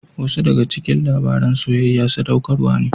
Wasu daga cikin labaran soyayya sadaukarwa ne.